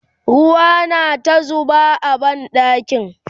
ruwa na ta zuba a banɗakin